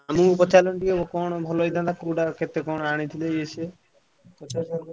ମାମୁଁ ଙ୍କୁ ପଚାରିଲାଣି ଟିକେ କଣ ଭଲ ହେଇଥାନ୍ତା କୋଉଟା ଆଣିଥିଲେ ଇଏ ସିଏ ପଚାରିଥାନ୍ତ।